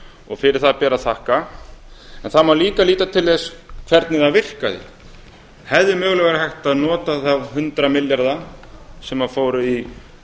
og fyrir það ber að þakka en það má líka líta til þess hvernig það virkaði hefði mögulega verið hægt að nota þá hundrað milljarða sem fóru í